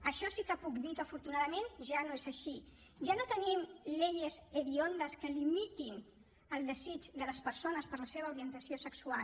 això sí que puc dir que afortunadament ja no és així ja no tenim leyes hediondas que limitin el desig de les persones per la seva orientació sexual